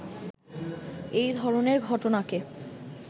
এ ধরনের ঘটনাকে